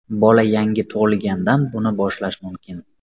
Bola yangi tug‘ilgandan buni boshlash mumkin.